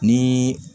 Ni